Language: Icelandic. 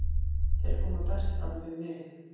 Þeir koma best fram við mig.